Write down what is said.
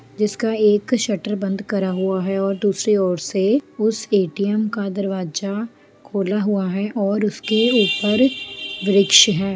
जिसका एक शटर बंद करा हुआ है दूसरे और से उस ए. टी. एम का दरवाजा खुला हुआ हैऔर उसके ऊपर वृक्ष है।